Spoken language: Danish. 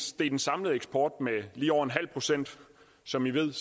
steg den samlede eksport med lige over en halv procent som i ved